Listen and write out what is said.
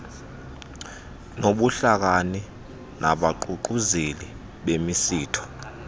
nobuhlakani nabaququzeleli bemisitho